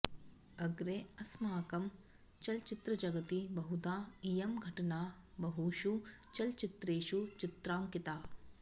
अग्रे अस्माकं चलचित्रजगति बहुधा इयं घटना बहुषु चलचित्रेषु चित्रांकिता